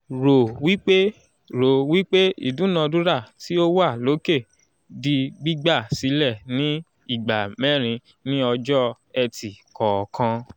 rò wípé rò wípé ìdúnadúrà tí ó wà lókè di gbígbà sílẹ̀ ni ìgbà mẹ́rin ni ọjọ́-ẹtì kọ̀ọ̀kan